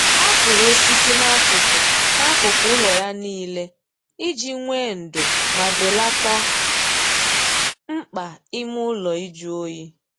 Ọ kụrụ osisi n'akụkụ n'akụkụ ụlọ ya niile iji nwee ndo ma belata mkpa ime ụlọ ịjụ oyi